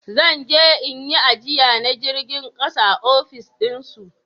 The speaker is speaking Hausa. Zan je in yi ajiya na jirgin ƙasa a ofis din su